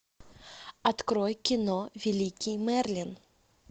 открой кино великий мерлин